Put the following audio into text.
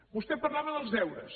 vostè parlava dels deures